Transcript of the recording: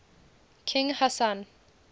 king hassan